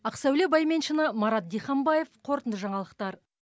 ақсәуле байменшина марат диханбаев қорытынды жаңалықтар